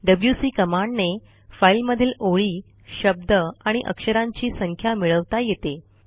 WC कमांडने फाईलमधील ओळी शब्द आणि अक्षरांची संख्या मिळवता येते